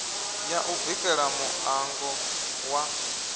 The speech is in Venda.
ya u bikela muṋango wa